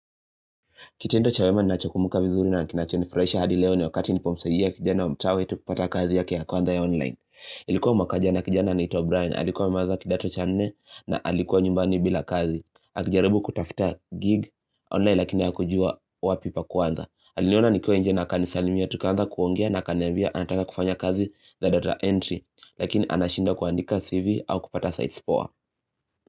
Kitendo cha wema ninacho kumbuka vizuri na kinachonifurahisha hadi leo ni wakati nilipomsaidia kijana wa mtaa wetu kupata kazi yake ya kwanza ya online. Ilikuwa mwaka jana kijana anaitwa Brian, alikuwa amemaliza kidato cha nne na alikua nyumbani bila kazi. Akijaribu kutafuta gig online lakini hakujua wapi pa kuanza. Kitendo cha wema ni nacho kumbuka vizuri na kinachoni furahisha hadi leo ni wakati nilipomsaidia kijana wa mtaa wetukupata kazi yake ya kwanza ya online. Lakini anashindwa kuandika cv au kupata sites poa.